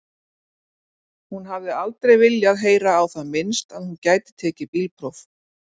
Hún hafði aldrei viljað heyra á það minnst að hún gæti tekið bílpróf.